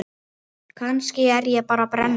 Kannski er ég bara brennu